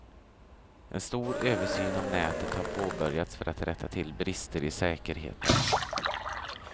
En stor översyn av nätet har påbörjats för att rätta till brister i säkerheten.